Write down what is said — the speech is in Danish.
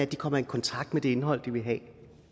de kommer i kontakt med det indhold de vil have